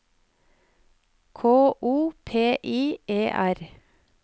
K O P I E R